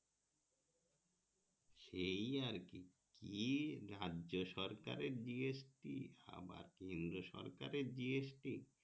সেই আর কি এই রাজসরকারের GST আবার কেন্দ্র সরকারের GST